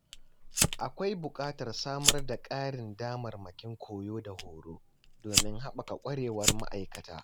Akwai buƙatar samar da ƙarin damarmakin koyo da horo, domin haɓaka ƙwarewar ma’aikata.